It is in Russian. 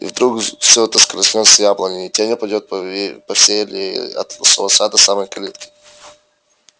и вдруг все это скользнёт с яблони и тень упадёт по всей аллее от шалаша до самой калитки